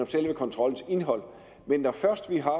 selve kontrollens indhold når først vi har